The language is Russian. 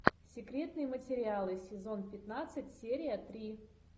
секретные материалы сезон пятнадцать серия три